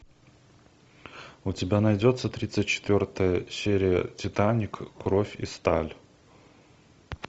у тебя найдется тридцать четвертая серия титаник кровь и сталь